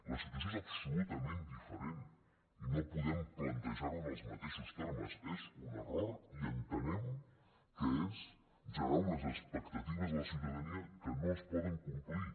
la situació és absolutament diferent i no podem plantejar ho en els mateixos termes és un error i entenem que és generar unes expectatives a la ciutadania que no es poden complir